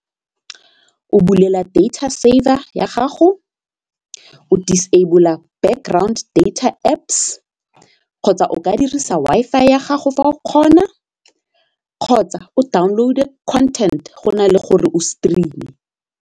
O bulela data saver ya gago, disable-a background data Apps kgotsa o ka dirisa Wi-Fi ya gago fa o kgona kgotsa o download-e content go na le gore o stream-e.